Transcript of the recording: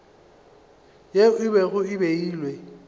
yeo e bego e beilwe